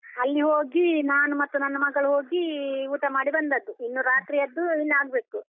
ಅಲ್ಲಿ ಹೋಗಿ ನಾನು ಮತ್ತೆ ನನ್ನ ಮಗಳು ಹೋಗಿ ಊಟ ಮಾಡಿ ಬಂದದ್ದು, ಇನ್ನು ರಾತ್ರಿಯದ್ದು ಇನ್ನು ಆಗ್ಬೇಕು.